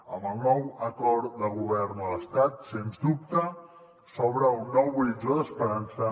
amb el nou acord de govern a l’estat sens dubte s’obre un nou horitzó d’esperança